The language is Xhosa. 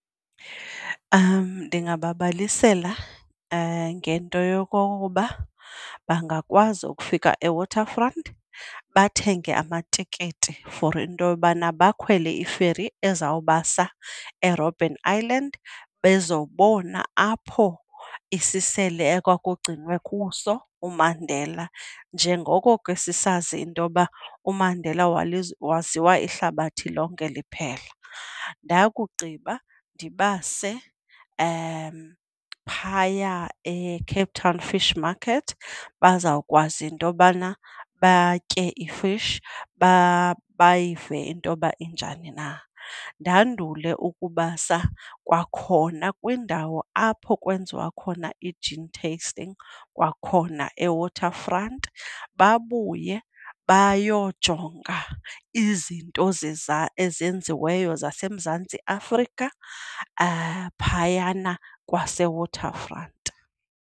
Ndingababalisela ngento yokokuba bangakwazi ukufika eWaterfront bathenge amatikiti for into yobana bakhwele i-ferry ezawubasa eRobben Island bezobona apho isisele ekwakugcinwe kuso uMandela njengoko ke sisazi intoba uMandela waziwa lihlabathi lonke liphela. Ndakugqiba ndibase phaya eCape Town Fish Market bazawukwazi into yobana batye i-fish, bayive intoba injani na. Ndandule ukubasa kwakhona kwiindawo apho kwenziwa khona i-gin tasting kwakhona eWaterfront babuye bayojonga izinto ezenziweyo zaseMzantsi Afrika phayana kwaseWaterfront.